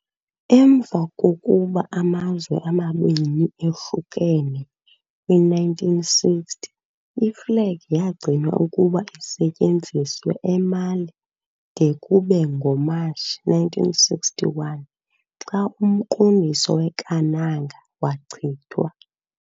Emva kokuba amazwe amabini ahlukene kwi -1960, iflegi yagcinwa ukuba isetyenziswe eMali de kube ngo-Matshi 1961, xa umqondiso weKanaga wachithwa.